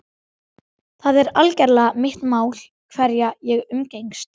Það er algerlega mitt mál hverja ég umgengst.